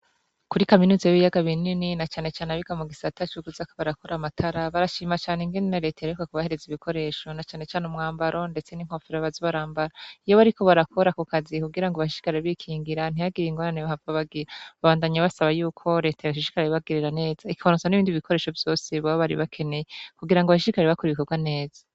Kuri kaminuza y'ibiyaga binini na canecane abiga mu gisata cukuza barakora amatara barashima cane ingene reta iheruka kubahereza ibikoresho na canecane umwambaro, ndetse n'inkofero baza barambara iyo bariko barakora ako kazi kugira ngo bashishikare bikingira ntihagire ingorane bahava bagira, babandanya basaba yuko reta yoshishikara ibagirira neza ikabaronsa n'ibindi bikoresho vyose boba bari bakeneye kugira ngo bashishikare bakora ibikorwa neza.